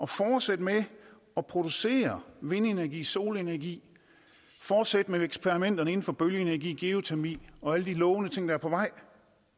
fortsætte med at producere vindenergi solenergi fortsætte med eksperimenterne inden for bølgeenergi geotermi og alle de lovende ting der er på vej